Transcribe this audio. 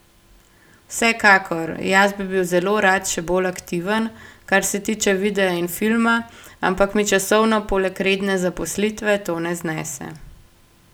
Vsekakor, jaz bi bil zelo rad še bolj aktiven, kar se tiče videa in filma, ampak mi časovno poleg redne zaposlitve to ne znese.